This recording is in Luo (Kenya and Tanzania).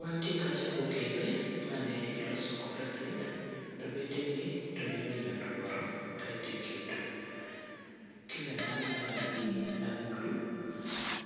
Wantie kacha gi okepe mane iloso kod othith to bedegi tone iwinyo tuoro kaito iketo. Kiwe mano tone wan gi agulu